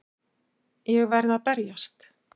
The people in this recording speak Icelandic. Ég verð að berjast.